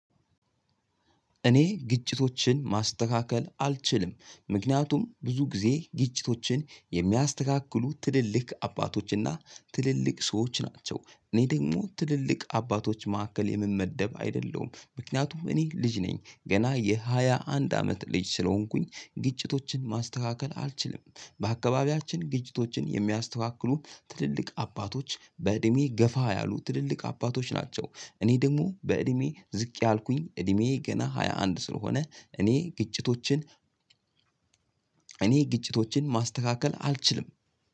እኔ ግጭቶችን ማስተካከል አልችልም። ምክንያቱም ብዙ ጊዜ ግጭቶችን የሚያስተካክሉት ትልልቅ አባቶችና ትልልቅ ሰዎች ናቸው። እኔ ደግሞ ትልልቅ አባቶች መካከል የምመደብ አይደለሁም። ምክንያቱም እኔ ልጅ ነኝ ገና የሃያ አንድ አመት ልጅ ስለሆንኩኝ ግጭቶችን ማስተካከል አልችልም። በአካባቢያችን ግጭቶችን የሚያስተካክሉን ትልልቅ አባቶች በእድሜ ገፋ ያሉ፤ ትልልቅ አባቶች ናቸው እኔ ደግሞ በእድሜ ዝቅ ያልኩኝ እድሜዬ ገና ሃያ አንድ ስለሆነ እኔ ግጭቶችን፥ እኔ ግጭቶችን ማስተካከል አልችልም።